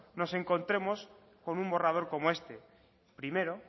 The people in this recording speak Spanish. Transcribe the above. nos encontremos con un borrador como este primero